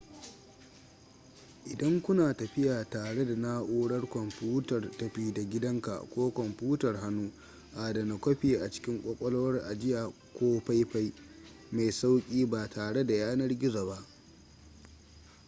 idan kuna tafiya tare da naurar kwamfutar tafi-da-gidanka ko kwamfutar hannu adana kwafi a cikin ƙwaƙwalwar ajiya ko faifai mai sauƙi ba tare da yanar gizo ba